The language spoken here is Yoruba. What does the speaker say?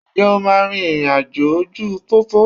Ǹjẹ́ o máa rin ìrìn àjò ojú pópó?